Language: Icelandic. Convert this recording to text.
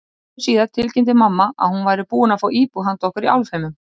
Skömmu síðar tilkynnti mamma að hún væri búin að fá íbúð handa okkur í Álfheimum.